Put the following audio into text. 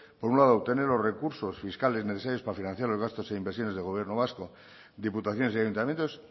por un lado obtener los recursos fiscales necesarios para financiar los gastos e inversiones del gobierno vasco diputaciones y ayuntamientos